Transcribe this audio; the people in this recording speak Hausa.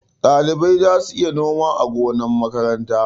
Ɗalibai za su iya noma a gonar makaranta.